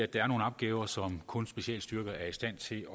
der er nogle opgaver som kun specialstyrker er i stand til